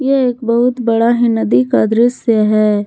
यह एक बहुत बड़ा है नदी का दृश्य है।